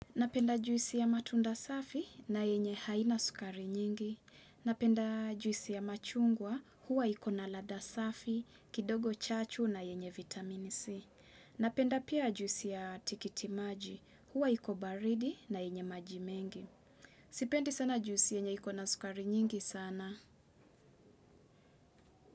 Napenda juisi ya matunda safi na yenye haina sukari nyingi. Napenda juisi ya machungwa huwa iko na ladha safi, kidogo chachu na yenye vitamin C. Napenda pia juisi ya tikitimaji huwa iko baridi na yenye maji mengi. Sipendi sana juisi yenye iko na sukari nyingi sana.